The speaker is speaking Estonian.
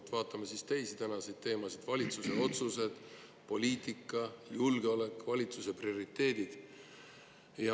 Aga vaatame siis teisi tänaseid teemasid: valitsuse otsused, poliitika, julgeolek, valitsuse prioriteedid.